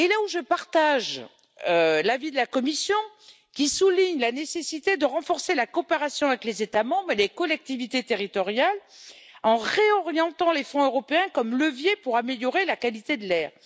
Je partage l'avis de la Commission sur la nécessité de renforcer la coopération avec les États membres et les collectivités territoriales en réorientant les fonds européens comme leviers pour améliorer la qualité de l'air.